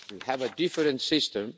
we have a different system.